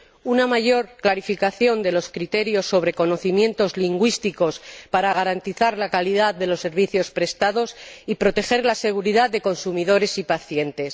una mayor clarificación de los criterios sobre conocimientos lingüísticos, para garantizar la calidad de los servicios prestados y proteger la seguridad de consumidores y pacientes